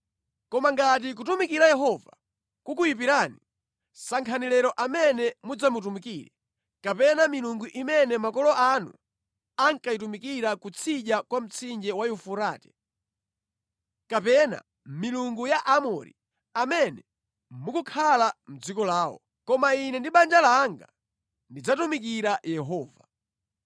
Koma ngati kutumikira Yehova kukuyipirani, sankhani lero amene mudzamutumikire, kapena milungu imene makolo anu ankayitumikira kutsidya kwa mtsinje wa Yufurate, kapena milungu ya Aamori, amene mukukhala mʼdziko lawo. Koma ine ndi banja langa, tidzatumikira Yehova.”